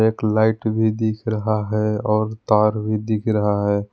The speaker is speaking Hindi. एक लाइट भी दिख रहा है और तार भी दिख रहा है।